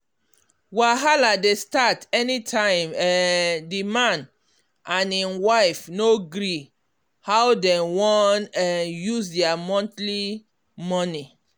wahala dey start any time um the man and him wife no gree how dem wan um use their monthly money.